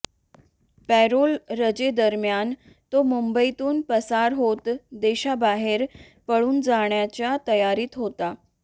payroll रजेदरम्यान तो मुंबईतून पसार होत देशाबाहेर पळून जाण्याच्या तयारीत होता